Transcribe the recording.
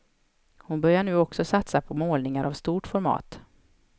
Hon började nu också satsa på målningar av stort format.